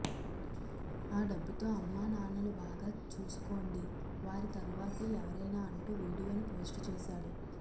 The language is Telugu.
ఆ డబ్బుతో అమ్మానాన్నలు బాగా చూసుకోండి వారి తరువాతే ఎవరైనా అంటూ వీడియోను పోస్ట్ చేశాడు